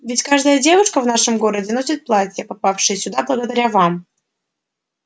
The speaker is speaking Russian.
ведь каждая девушка в нашем городе носит платья попавшие сюда благодаря вам